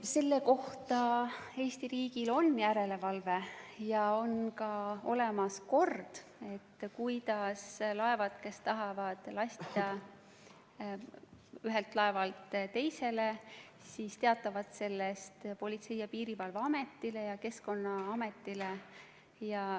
Selle üle Eesti riigil on järelevalve ja on ka olemas kord, kuidas laevad, kes tahavad lastida ühelt laevalt teisele, teatavad sellest Politsei- ja Piirivalveametile ja Keskkonnaametile.